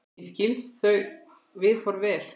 Ég skil þau viðhorf vel.